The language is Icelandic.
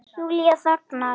Júlía þagnar.